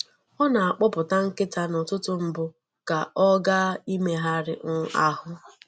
Ọ na-akpọpụta nkịta n’ụtụtụ mbụ ka ọ gaa imegharị um ahụ.